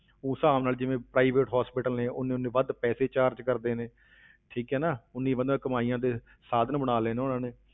ਉਸ ਹਿਸਾਬ ਨਾਲ ਜਿਵੇਂ private hospital ਨੇ ਉਨੇ ਉਨੇ ਵੱਧ ਪੈਸੇ charge ਕਰਦੇ ਨੇ ਠੀਕ ਹੈ ਨਾ, ਉਨੀ ਵੱਧ ਕਮਾਈਆਂ ਦੇ ਸਾਧਨ ਬਣਾ ਲਏ ਨੇ ਉਨ੍ਹਾਂ ਨੇ,